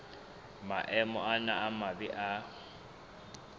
maemo ana a mabe a